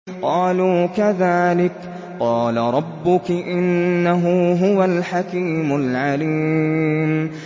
قَالُوا كَذَٰلِكِ قَالَ رَبُّكِ ۖ إِنَّهُ هُوَ الْحَكِيمُ الْعَلِيمُ